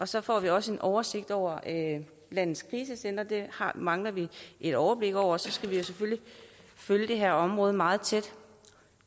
så får vi også en oversigt over landets krisecentre dem mangler vi et overblik over og så skal vi jo selvfølgelig følge det her område meget tæt